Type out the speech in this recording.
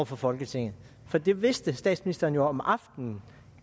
for folketinget for det vidste statsministeren jo om aftenen